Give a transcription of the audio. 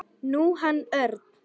Nú, hann Örn.